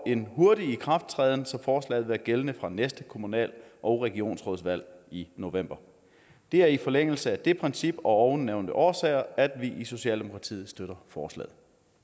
en hurtig ikrafttræden så forslaget er gældende fra næste kommunal og regionsrådsvalg i november det er i forlængelse af det princip og af ovennævnte årsager at vi i socialdemokratiet støtter forslaget